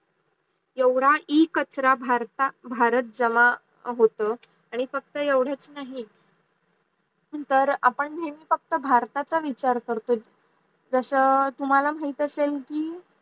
एवढ्या इ कचरा भारत भारतात जमा होत आणी फक्त एवढ्याच नाही, तर आपण नेहमी फक्त भारताचा विचार करतोय जस तुम्हाला माहित असेल की